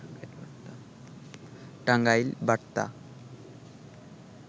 টাংগাইল বার্তা